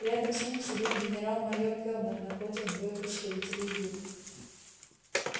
рядом с ним сидел генерал-майор кэллнер напротив двое представителей ю